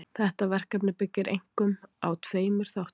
Þetta verkefni byggir einkum á tveimur þáttum.